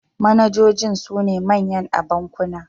Manajojin sune manyan a bankuna.